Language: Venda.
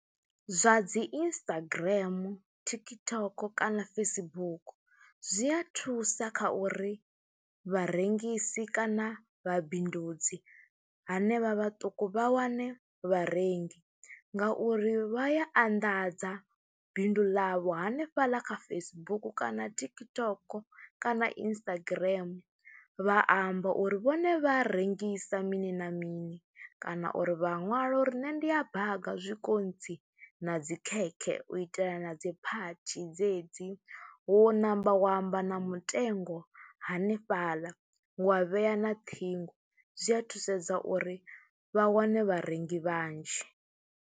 Zwa dzi Instagram, TikTok kana Facebook zwi a thusa kha uri vharengisi kana vhabindudzi hanevha vhaṱuku vha wane vharengi ngauri vha ya anḓadza bindu ḽavho hanefhaḽa kha Facebook kana TikTok kana Instagram, vha amba uri vhone vha rengisa mini na mini kana uri vha ṅwala uri nṋe ndi a baga zwikontsi na dzikhekhe u itela na dzi phathi dzedzi wo namba wa amba na mutengo hanefhaḽa, wa vhea na ṱhingo, zwi a thusedza uri vha wane vharengi vhanzhi.